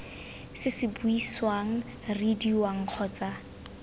se se buisiwang reediwang kgotsa